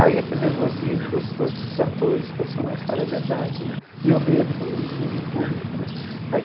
Aí aquele nervosismo gostoso que os atores profissionais falam é verdade né, e o medo do de não vir em público né.